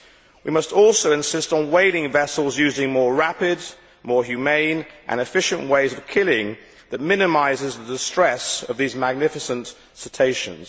We must also insist on whaling vessels using more rapid, more humane and efficient ways of killing that minimise the distress of these magnificent cetaceans.